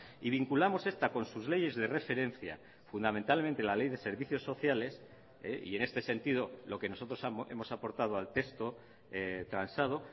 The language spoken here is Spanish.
y vinculamos esta con sus leyes de referencia fundamentalmente la ley de servicios sociales y en este sentido lo que nosotros hemos aportado al texto transado